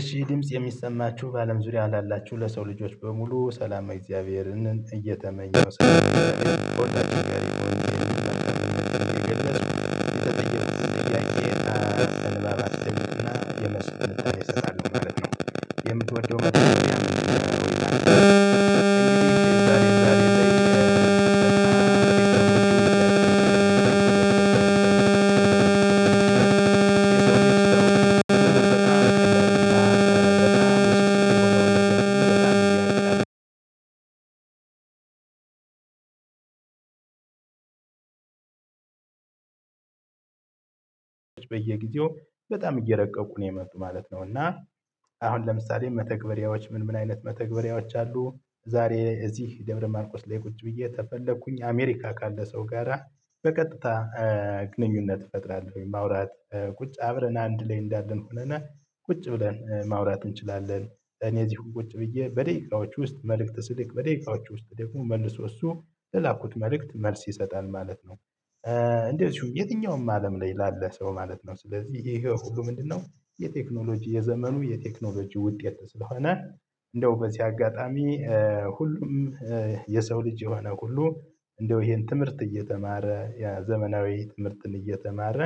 እሺ ድምጽ የሚሰማችሁ በአለም ዙሪያ አላላችሁ ለሰው ልጆች በሙሉ ሰላማ እግዚአብሔርን እየተመኘ የምትወደው ነው የምትወደው አይደለም። በየጊዜው በጣም እየረቀቁ ነው የመጡ ማለት ነው። እና አሁን ለምሳሌ መተግበሪያዎች ምን አይነት መተግበሪያዎች አሉ? ዛሬ እዚህ ደብረ ማርቆስ ላይ ቁጭ ብዬ ተፈለኩኝ አሜሪካ ካለ ሰው ጋራ በቀጥታ ግንኙነት እፈጥራለሁ ወይ ማውራት ቁጭ አብረን አንድ ላይ እንዳለን ሆነነ ቁጭ ብለን ማውራት እንችላለን። ለኔ እዚሁም ቁጭ ብዬ በደቂቃዎች ውስጥ መልእክት ስልክ በደቂቃዎች ውስጥ ደግሞ መልሶ እሱ ለላኩት መልእክት መልስ ይሰጣል ማለት ነው። እንደው እዚሁ የትኛውም አለም ላይ ላለ ሰው ማለት ነው ስለዚህ ይሄ ሁሉ ምንድነው? የቴክኖሎጂ የዘመኑ የቴክኖሎጂ ውጤት ስለሆነ እንደው በዚህ አጋጣሚ ሁሉም የሰው ልጅ የሆነ ሁሉ እንደው ይሄን ትምህርት እየተማረ ዘመናዊ ትምህርትን እየተማረ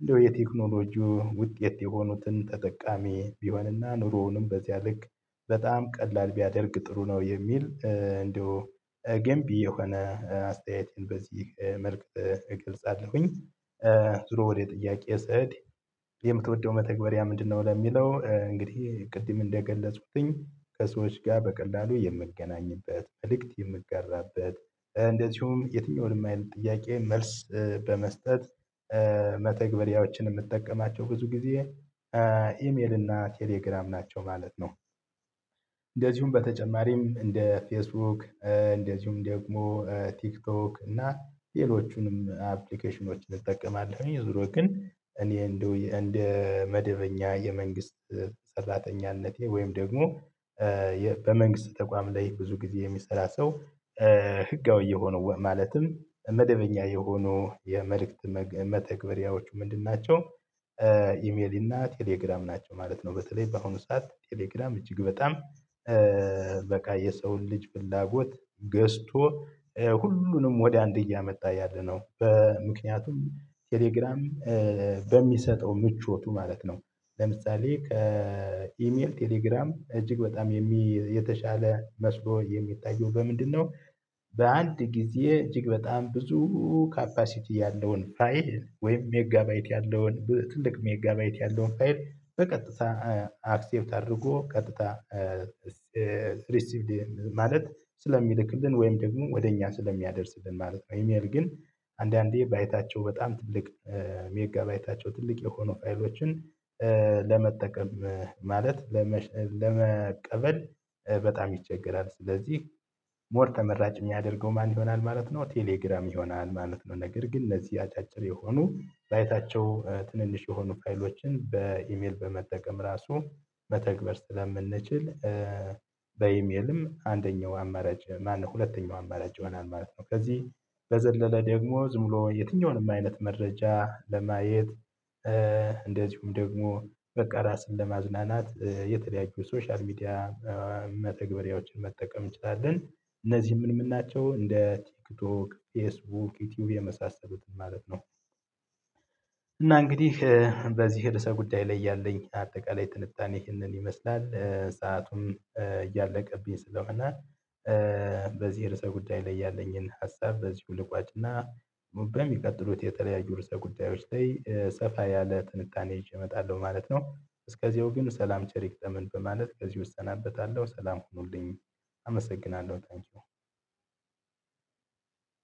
እንደው የቴክኖሎጂው ውጤት የሆኑትን ተጠቃሚ ቢሆንና ኑሮውንም በዚያ ልክ በጣም ቀላል ቢያደርግ ጥሩ ነው። የሚል እንደው ገንቢ የሆነ አስተያየቴን በዚህ መልክ እገልጻለሁኝ። ዙሮ ወደ ጥያቄ ስዕድ የምትወደው መተግበሪያ ምንድነው? ለሚለው እንግዲህ ቅድም እንደገለጹትኝ ከሰዎች ጋር በቀላሉ የምንገናኝበት መልእክት የምንጋራበት እንደዚሁም የትኛውንም አይነት ጥያቄ መልስ በመስጠት መተግበሪያዎችን የምትጠቀማቸው ብዙ ጊዜ ኢሜል እና ቴሌግራም ናቸው ማለት ነው። እንደዚሁም በተጨማሪም እንደ ፌስቡክ እንደዚሁም ደግሞ ቲክቶክ እና ሌሎቹንም አፕሊኬሽኖችን እጠቀማለሁ። ዙሮ ግን እኔ እንደ መደበኛ የመንግስት ሰራተኝነቴ ወይም ደግሞ በመንግስት ተቋም ላይ ብዙ ጊዜ የሚሰራ ሰው ህጋዊ የሆኑ ማለትም መደበኛ የሆኑ የመልእክት መተግበሪያዎቹ ምንድን ናቸው? ኢሜሊ እና ቴሌግራም ናቸው ማለት ነው። በተለይ በአሁኑ ሰዓት ቴሌግራም እጅግ በጣም በቃ የሰውን ልጅ ፍላጎት ገዝቶ ሁሉንም ወደ አንድ እያመጣ ያለነው በምክንያቱም ቴሌግራም በሚሰጠው ምቾቱ ማለት ነው። ለምሳሌ ከኢሜል ቴሌግራም እጅግ በጣም የተሻለ መስሎ የሚታየው በምንድነው? በአንድ ጊዜ እጅግ በጣም ብዙ ካፓሲቲ ያለውን ፋይል ወይም ሜጋባይት ያለውን ትልቅ ሜጋባይት ያለውን ፋይል በቀጥታ አክሴፕት አድርጎ ቀጥታ ሪሲቭድ ማለት ስለሚልክልን ወይም ደግሞ ወደ እኛ ስለሚያደርስልን ማለት ነው። ኢሜል ግን አንዳንዴ ባይታቸው በጣም ትልቅ ሜጋ ባይታቸው ትልቅ የሆኑ ፋይሎችን ለመጠቀም ማለት ለመቀበል በጣም ይቸገራል። ስለዚህ ሞር ተመራጭ የሚያደርገው ማን ይሆናል ማለት ነው። ቴሌግራም ይሆናል ማለት ነው። ነገር ግን እነዚህ አጫጭር የሆኑ ባይታቸው ትንንሽ የሆኑ ፋይሎችን በኢሜል በመጠቀም ራሱ በተግባር ስለምንችል። በኢሜልም አንደኛው አማራጭ ማነው ሁለተኛው አማራጭ ይሆናል ማለት ነው። ከዚህ በዘለለ ደግሞ ዝም ብሎ የትኛውንም አይነት መረጃ ለማየት እንደዚሁም ደግሞ በቃ ራስን ለማዝናናት የተለያዩ ሶሻል ሚዲያ መተግበሪያዎችን መጠቀም እንችላለን። እነዚህ ምን ምን ናቸው? እንደ ቲክቶክ ፌስቡክ ዩቲዩብ የመሳሰሉትን ማለት ነው። እና እንግዲህ በዚህ ርዕሰ ጉዳይ ላይ ያለኝ አጠቃላይ ትንታኔ ይህንን ይመስላል። ሰአቱም እያለቀብኝ ስለሆነ። እና በዚህ ርዕሰ ጉዳይ ላይ ያለኝን ሀሳብ በዚህ ልቋጭና በሚቀጥሉት የተለያዩ ርዕሰ ጉዳዮች ላይ ሰፋ ያለ ትንታኔ እመጣለሁ ማለት ነው። እስከዚያው ግን ሰላም ቸር ይግጠመን በማለት ከዚህ እሰናበታለሁ። ሰላም ሁኑልኝ። አመሰግናለሁ ታንኪው።